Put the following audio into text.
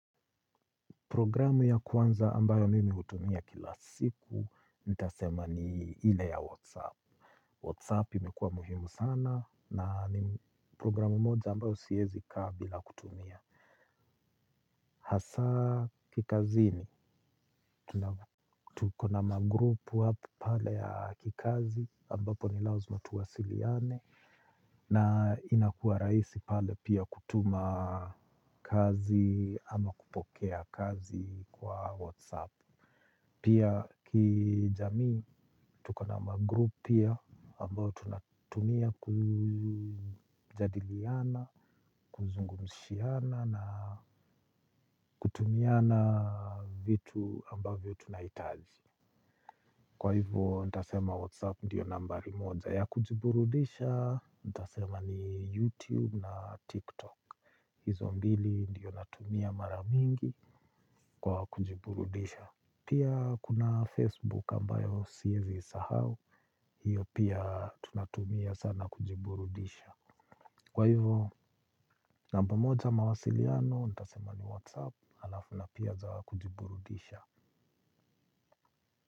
Programu ya kwanza ambayo mimi hutumia kila siku, nitasema ni ile ya WhatsApp. WhatsApp imekua muhimu sana na ni programu moja ambayo siezi kaa bila kutumia. Hasa kikazini tuko na ma group pale ya kikazi ambapo ni lazima tuwasiliane na inakuwa rahisi pale pia kutuma kazi ama kupokea kazi kwa WhatsApp. Pia kijamii, tuko na magroup pia ambayo tunatumia kujadiliana, kuzungumshiana na kutumiana vitu ambavyo tunahitaji. Kwa hivyo, nitasema WhatsApp ndiyo nambari moja ya kujiburudisha, nitasema ni YouTube na TikTok. Hizo mbili ndiyo natumia mara mingi kwa kujiburudisha. Pia kuna Facebook ambayo sievzi sahau, hiyo pia tunatumia sana kujiburudisha. Kwa hivyo, namba moja mawasiliano, nitasema ni WhatsApp, alafu na pia za kujiburudisha.